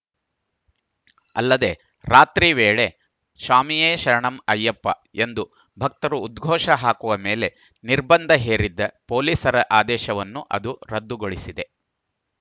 ಅಲ್ಲದೆ ರಾತ್ರಿ ವೇಳೆ ಸ್ವಾಮಿಯೇ ಶರಣಂ ಅಯ್ಯಪ್ಪ ಎಂದು ಭಕ್ತರು ಉದ್ಘೋಷ ಹಾಕುವ ಮೇಲೆ ನಿರ್ಬಂಧ ಹೇರಿದ್ದ ಪೊಲೀಸರ ಆದೇಶವನ್ನು ಅದು ರದ್ದುಗೊಳಿಸಿದೆ